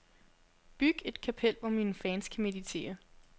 Byg et kapel, hvor mine fans kan meditere.